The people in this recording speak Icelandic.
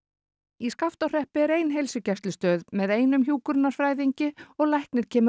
í Skaftárhreppi er ein heilsugæslustöð með einum hjúkrunarfræðingi og læknir kemur